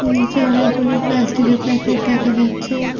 নীচে অনেকগুলি প্লাস্টিকের প্যাকেট দেখা যাচ্ছে।